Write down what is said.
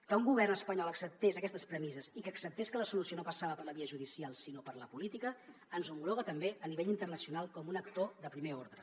que un govern espanyol acceptés aquestes premisses i que acceptés que la solució no passava per la via judicial sinó per la política ens homologa també a nivell internacional com un actor de primer ordre